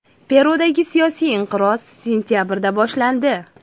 Perudagi siyosiy inqiroz sentabrda boshlandi.